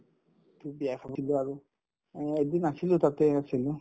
to বিয়া খাবই লাগিব আৰু উম এদিন আছিলো তাতেই আছিলো